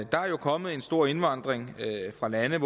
der er kommet en stor indvandring fra lande